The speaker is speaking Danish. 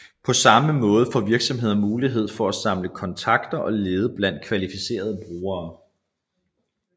På samme måde får virksomheder mulighed for at samle kontakter og lede blandt kvalificerede brugere